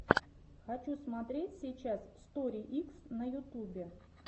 хочу смотреть сейчас стори икс на ютубе